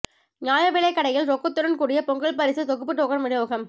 நியாயவிலைக் கடையில் ரொக்கத்துடன் கூடிய பொங்கல் பரிசு தொகுப்பு டோக்கன் விநியோகம்